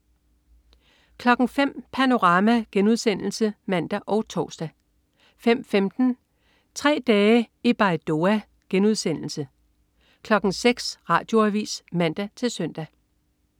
05.00 Panorama* (man og tors) 05.15 Tre dage i Baidoa* 06.00 Radioavis (man-søn)